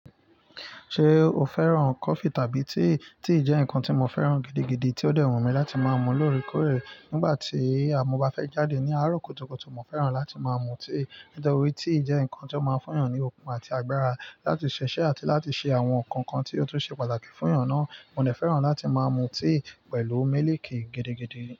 Ṣé o fẹ́ràn coffee tàbí tea? Tea jẹ́ nǹkan tí mo fẹ́ràn gidigidi tí ó dẹ̀ wùnmí mi láti máa mú lóòrèkóòrè. Nígbà tí àmú bá fẹ́ jáde ní àárọ̀ kùtùkùtù, mo fẹ́ràn láti máa mú tea. Nítorí tea jẹ́ nǹkan tí ó máa ń fún èèyàn ní okun àti agbára láti ṣiṣẹ́ àti láti ṣe àwọn nǹkan kan tí ó tún ṣe pàtàkì fún èèyàn náà. Mo dẹ fẹ́ràn láti máa mú tea pẹ̀lú mílìkì gidigidi.